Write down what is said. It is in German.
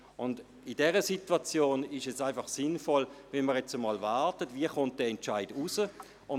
In dieser Situation ist es sinnvoll, abzuwarten, wie dieser Entscheid herauskommt.